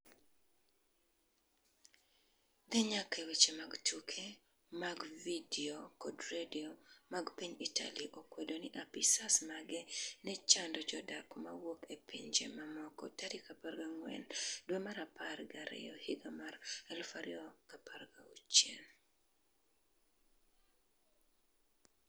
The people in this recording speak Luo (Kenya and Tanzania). dhi nyaka e weche mag tuke mag vidio kod redio mag piny Italy okwedo ni apisas mage ne chando jodak ma wuok e pinje mamoko tarik 4 dwe mar apar gi ariyo higa mar 2016